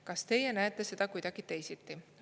Kas teie näete seda kuidagi teisiti?